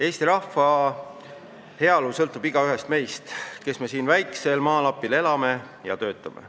Eesti rahva heaolu sõltub igaühest meist, kes me siin väiksel maalapil elame ja töötame.